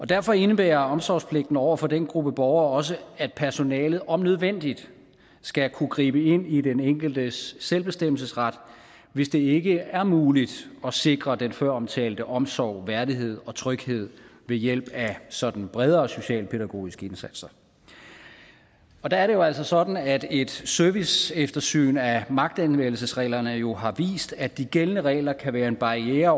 derfor indebærer omsorgspligten over for den gruppe borgere også at personalet om nødvendigt skal kunne gribe ind i den enkeltes selvbestemmelsesret hvis det ikke er muligt at sikre den føromtalte omsorg værdighed og tryghed ved hjælp af sådan bredere socialpædagogiske indsatser og der er det jo altså sådan at et serviceeftersyn af magtanvendelsesreglerne jo har vist at de gældende regler kan være en barriere